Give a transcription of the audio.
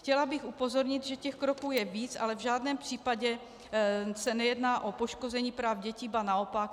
Chtěla bych upozornit, že těch kroků je víc, ale v žádném případě se nejedná o poškození práv dětí, ba naopak.